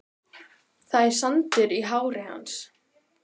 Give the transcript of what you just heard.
Það er sandur í hári hans.